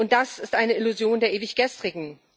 Das ist eine Illusion der Ewiggestrigen.